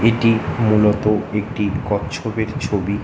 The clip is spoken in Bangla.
এটি মূলত একটি কচ্ছপের ছবি।